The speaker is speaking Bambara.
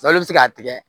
La i bɛ se k'a tigɛ